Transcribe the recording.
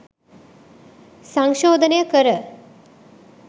සංශෝධනය කර